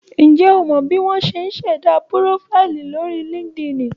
Ǹjẹ́ o mọ bí wọ́n ṣe ń ṣẹ̀dá púrófáìlì lórí LinkedIn?